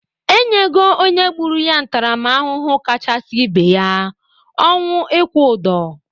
E nyego onye gbụru ya ntaramahụhụ kachasị ibe ya,:ọnwụ ịkwụ ụdụ.